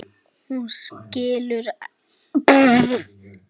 Hún skilur allt.